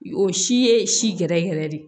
O si ye si gɛrɛ yɛrɛ de ye